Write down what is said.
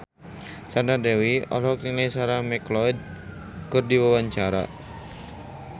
Sandra Dewi olohok ningali Sarah McLeod keur diwawancara